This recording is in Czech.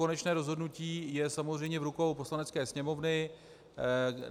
Konečné rozhodnutí je samozřejmě v rukou Poslanecké sněmovny.